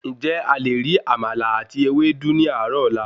Ǹjẹ́ a le ri àmàlà àti Ewédú ní àárò ọ̀la?